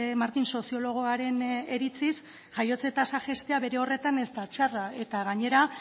martín soziologoaren iritziz jaiotze tasa jaistea bere horretan ez da txarra eta gainera